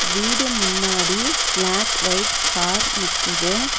வீடு முன்னாடி black white car நிக்கிது.